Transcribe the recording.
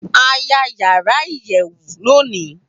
A ya yara iyẹwu loni